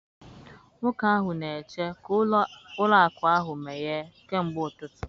Nwoke ahụ na-eche ka ụlọ akụ ahụ meghee kemgbe ụtụtụ!